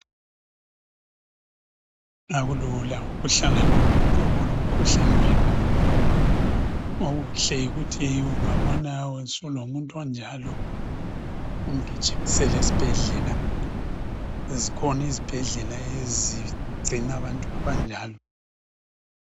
akulula ukuhlala lomuntu olomkhuhlane wenqondo okuhle yikuthi ungabona usulomuntu onjalo umgijimisele esibhedlela zikhona izibhedlela ezigcina abantu abanjalo